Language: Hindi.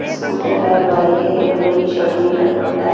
स्कूटर हैं बाइक हैं येल्लो कलर की शर्ट में एक लड़का बैठा हैं।